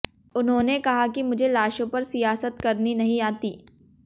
उन्होंने कहा कि मुझे लाशों पर सियासत करनी नहीं आती